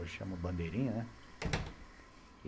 Hoje chama Bandeirinha, né?